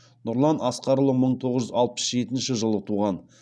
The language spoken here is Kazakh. нұрлан асқарұлы мың тоғыз жүз алпыс жетінші жылы туған